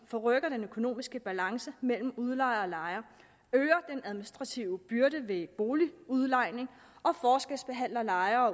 forrykker den økonomiske balance mellem udlejere og lejere øger den administrative byrde ved boligudlejning og forskelsbehandler lejere